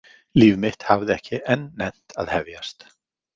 Líf mitt hafði ekki enn nennt að hefjast.